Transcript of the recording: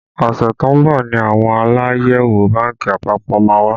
Ọṣẹ tó ń bọ̀ ni àwọn Aláyẹ̀wò bánkì àpapọ̀ má wá